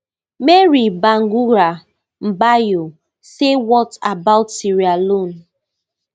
mary bangura mbayo say what about sierra leone